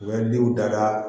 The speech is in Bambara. U bɛ denw daga